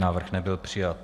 Návrh nebyl přijat.